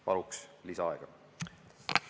Palun lisaaega!